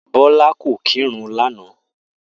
Bó̩lá kò kírun lánàá